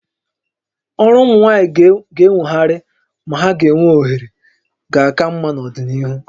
Ọrụ ụmụ nwaanyị ga-enwogharị ma ha ga-enwe ohere ga aka mma n'ọdịnihu